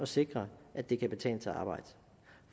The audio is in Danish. sikre at det kan betale sig at arbejde